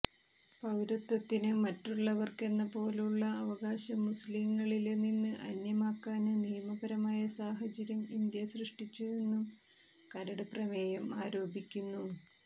പൌരത്വത്തിന് മറ്റുള്ളവര്ക്കെന്നപോലെയുള്ള അവകാശം മുസ്ലിംകളില് നിന്ന് അന്യമാക്കാന് നിയമപരമായ സാഹചര്യം ഇന്ത്യ സൃഷ്ടിച്ചുവെന്നും കരട് പ്രമേയം ആരോപിക്കുന്നു